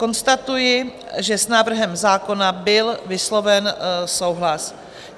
Konstatuji, že s návrhem zákona byl vysloven souhlas.